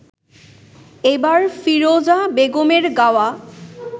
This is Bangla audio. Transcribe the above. এবার ফিরোজা বেগমের গাওয়া